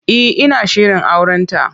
E, ina shirin aurenta.